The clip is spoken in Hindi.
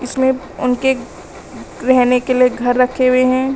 इसमें उनके रहने के लिए घर रखे हुए हैं।